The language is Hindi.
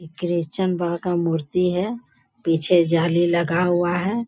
क्रिस्चियन बा का मूर्ति है। पीछे जाली लगा हुआ है।